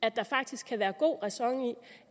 at der faktisk kan være god ræson i